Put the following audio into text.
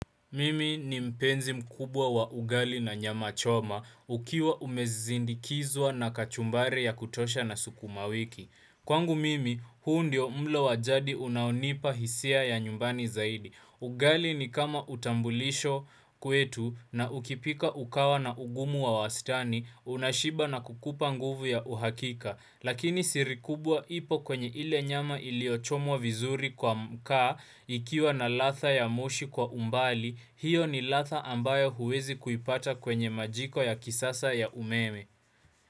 Mimi ni mpenzi mkubwa wa ugali na nyama choma. Ukiwa umezindikizwa na kachumbari ya kutosha na sukuma wiki. Kwangu mimi, huu ndio mlo wajadi unaonipa hisia ya nyumbani zaidi. Ugali ni kama utambulisho kwetu na ukipika ukawa na ugumu wa wastani, unashiba na kukupa nguvu ya uhakika. Lakini siri kubwa ipo kwenye ile nyama iliochomwa vizuri kwa mkaa ikiwa na latha ya moshi kwa umbali,.Hiyo ni latha ambayo huwezi kuipata kwenye majiko ya kisasa ya umeme.